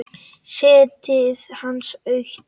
Sætið hans autt.